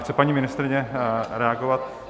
Chce paní ministryně reagovat?